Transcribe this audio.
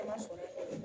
Ala sɔnna